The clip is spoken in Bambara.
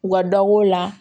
U ka dɔ b'o la